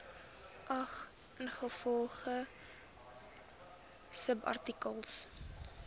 geag ingevolge subartikel